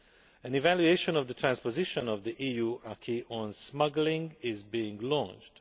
An evaluation of the transposition of the EU acquis on smuggling is being launched.